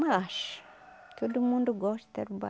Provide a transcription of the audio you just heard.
Mas, todo mundo gosta de Tarubá.